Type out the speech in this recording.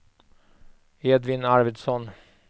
Edvin Arvidsson